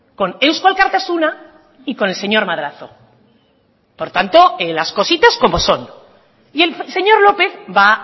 con eusko alkartasuna y con el señor madrazo por tanto las cositas como son y el señor lópez va